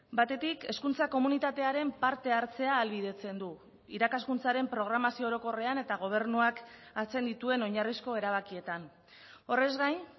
batetik hezkuntza komunitatearen parte hartzea ahalbidetzen du irakaskuntzaren programazio orokorrean eta gobernuak hartzen dituen oinarrizko erabakietan horrez gain